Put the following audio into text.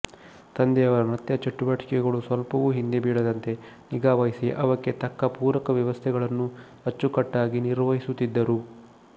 ತಂದೆಯವರ ನೃತ್ಯ ಚಟುವಟಿಕೆಗಳು ಸ್ವಲ್ಪವೂ ಹಿಂದೆ ಬೀಳದಂತೆ ನಿಗಾವಹಿಸಿ ಅವಕ್ಕೆ ತಕ್ಕ ಪೂರಕ ವ್ಯವಸ್ಥೆಗಳನ್ನೂ ಅಚ್ಚುಕಟ್ಟಾಗಿ ನಿರ್ವಹಿಸುತ್ತಿದ್ದರು